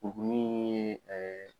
Kurukurunin in ye